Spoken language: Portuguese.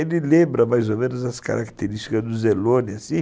Ele lembra mais ou menos as características do Zellone, assim.